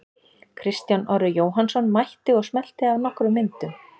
Kristján Orri Jóhannsson mætti og smellti af nokkrum myndum.